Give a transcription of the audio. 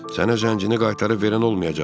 Sənə zəngini qaytarıb verən olmayacaq.